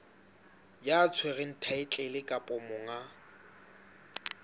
ya tshwereng thaetlele kapa monga